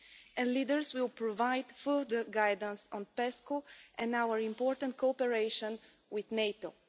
and leaders will provide further guidance on PESCO and our important cooperation with NATO.